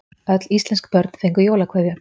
Öll íslensk börn fengu jólakveðju.